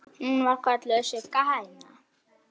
Hún var kölluð Sigga hæna.